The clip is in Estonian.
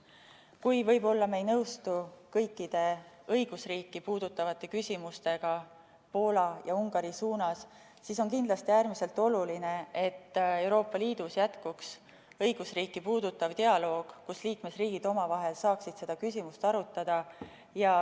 Isegi kui me võib-olla ei nõustu kõikide õigusriiki puudutavate küsimustega Poola ja Ungari koha pealt, siis on kindlasti äärmiselt oluline, et Euroopa Liidus jätkuks õigusriiki puudutav dialoog, kus liikmesriigid omavahel saaksid seda küsimust arutada.